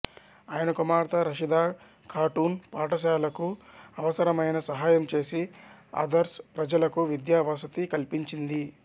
ఆయన కుమార్తె రషీదా ఖాటూన్ పఠశాలకు అవసరమైన సహాయం చేసి అద్సర్ ప్రజలకు విద్యా వసతి కల్పించింది